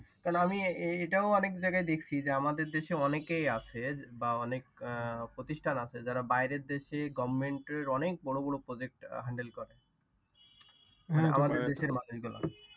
কারণ এটাও আমি অনেক জায়গায় দেখছি যে আমাদের দেশে অনেকেই আছে বা অনেক প্রতিষ্ঠান আছে যারা বাহিরের দেশে government এর অনেক বড় বড় Project handle করে। আমাদের দেশের মানুষ গুলা